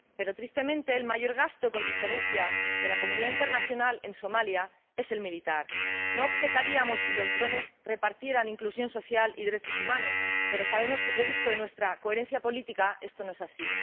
Pero, tristemente, el mayor gasto, con diferencia, de la comunidad internacional en Somalia es el militar. No objetaríamos si los drones repartieran inclusión social y derechos humanos, pero sabemos que, producto de nuestra coherencia política, esto no es así.